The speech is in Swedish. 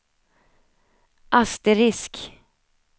asterisk